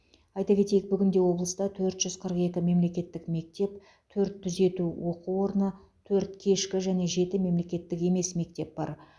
айта кетейік бүгінде облыста төрт жүз қырық екі мемлекеттік мектеп төрт түзету оқу орны төрт кешкі және жеті мемлекеттік емес мектеп бар